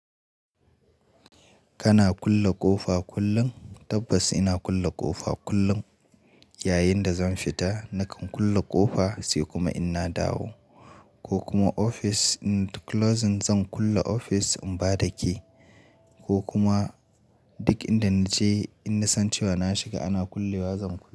Kana kulle ƙofa kullum? Tabbas ina kulle ƙofa kullum, yayin da zan fita nakan kulle ƙofa sai kuma in na dawo. Ko kuma ofis closing zan kulle ofis in ba da key ko kuma duk inda naje in na san cewa na shiga ana kulle wa zan kulle.